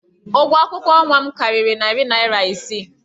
Ụgwọ akwụkwọ nwa m karịrị narị naira isii.